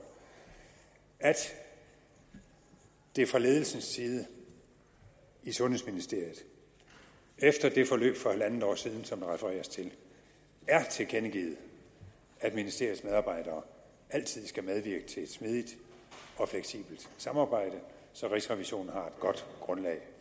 at det fra ledelsens side i sundhedsministeriet efter det forløb for halvandet år siden som der refereres til er tilkendegivet at ministeriets medarbejdere altid skal medvirke til et smidigt og fleksibelt samarbejde så rigsrevisionen har et godt grundlag